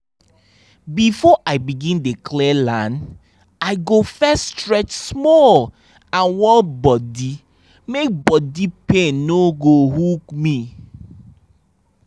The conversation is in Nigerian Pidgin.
before i begin dey clear land i go first stretch small and warm body make body pain no go hook me